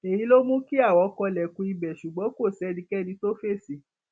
èyí ló mú kí àwọn kanlẹkùn ibẹ ṣùgbọn kò sẹnikẹni tó fèsì